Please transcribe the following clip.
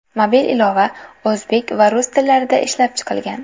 Mobil ilova o‘zbek va rus tillarida ishlab chiqilgan.